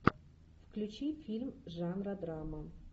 включи фильм жанра драма